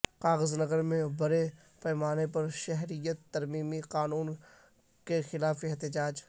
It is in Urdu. کاغذنگر میں بڑے پیمانے پر شہریت ترمیمی قانون کے خلاف احتجاج